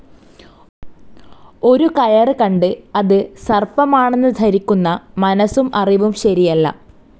ഒരു കയറു കണ്ടു അത് സർപ്പമാണെന്നു ധരിക്കുന്ന മനസും അറിവും ശരിയല്ല.